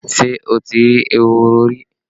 Ṣé o ti rí ehoro rí?